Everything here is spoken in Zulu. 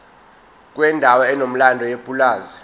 kwendawo enomlando yepulazi